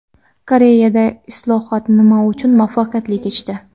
Koreyada islohot nima uchun muvaffaqiyatli kechdi?